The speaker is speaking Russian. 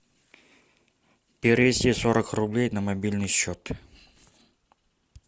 перевести сорок рублей на мобильный счет